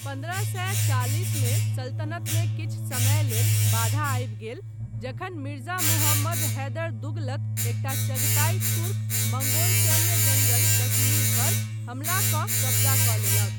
पन्द्रह सए चालिस मे सल्तनतमे किछु समय लेल बाधा आबि गेल जखन मिर्जा मुहम्मद हैदर दुगलत, एकटा चगताई तुर्क मंगोल सैन्य जनरल कश्मीर पर हमला कऽ कब्जा कऽ लेलक।